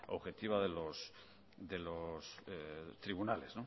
objetiva de los tribunales